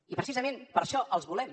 i precisament per això els volem